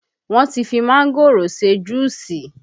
Wọn ti fi mángòrò ṣe juusi